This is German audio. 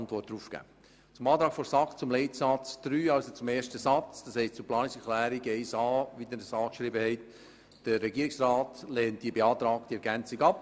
Zur Planungserklärung 1a der SAK zu Leitsatz 3 beziehungsweise zum ersten Satz: Der Regierungsrat lehnt die beantragte Ergänzung ab.